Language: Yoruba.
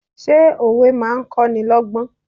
Ṣé òwe máa ń kó ni lọ́gbọ́n?